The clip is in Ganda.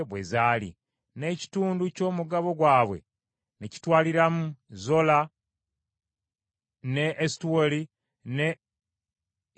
N’ekitundu ky’omugabo gwabwe ne kitwaliramu Zola ne Esutaoli ne Irusemesi